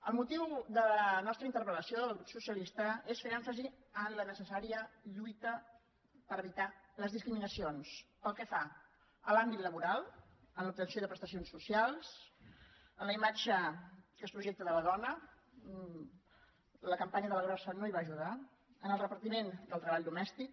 el motiu de la nostra interpel·la necessària lluita per evitar les discriminacions pel que fa a l’àmbit laboral en l’obtenció de prestacions socials en la imatge que es projecta de la dona la campanya de la grossa no hi va ajudar en el repartiment del treball domèstic